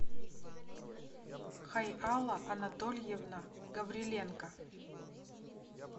хайала анатольевна гавриленко